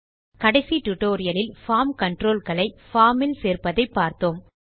கடைசி டியூட்டோரியல் லில் form control களை பார்ம் இல் சேர்ப்பதை பார்த்தோம்